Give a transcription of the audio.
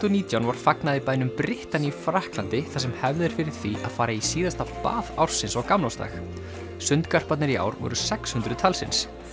og nítján var fagnað í bænum Brittany í Frakklandi þar sem er hefð fyrir því að fara í síðasta bað ársins á gamlársdag í ár voru sex hundruð talsins